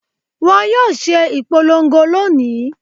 Wọ́n yóò ṣe ìpolongo lónìí.